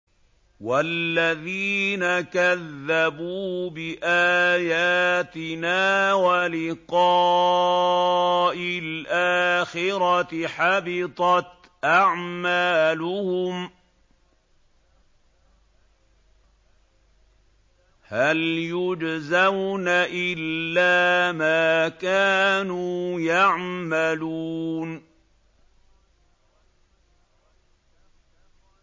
وَالَّذِينَ كَذَّبُوا بِآيَاتِنَا وَلِقَاءِ الْآخِرَةِ حَبِطَتْ أَعْمَالُهُمْ ۚ هَلْ يُجْزَوْنَ إِلَّا مَا كَانُوا يَعْمَلُونَ